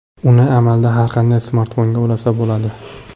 Uni amalda har qanday smartfonga ulasa bo‘ladi.